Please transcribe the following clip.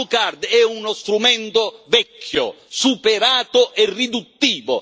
La blue card è uno strumento vecchio, superato e riduttivo.